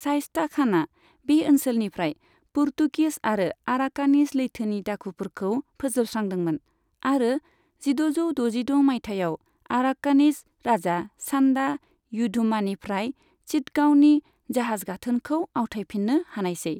शाइस्ता खानआ बे ओनसोलनिफ्राय पर्तुगिस आरो आराकानीज लैथोनि दाखुफोरखौ फोजोबस्रांदोंमोन, आरो जिद'जौ द'जिद' मायथाइयाव आराकानीज राजा, सान्डा थुधम्मानिफ्राय चिटगांवनि जाहाज गाथोनखौ आवथायफिन्नो हानायसै।